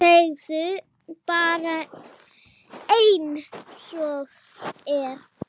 Segðu bara einsog er.